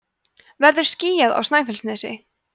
verður skýjað á snæfellsnesi